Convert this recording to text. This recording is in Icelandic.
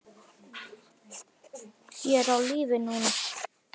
Ég er á lífi núna.